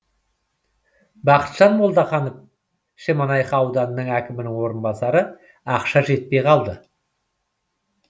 бақытжан молдаханов шемонайха ауданы әкімінің орынбасары ақша жетпей қалды